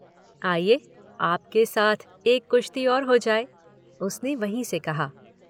आइए, आपके साथ एक कुश्ती औ हो जाए। उसने वहीं से कहा।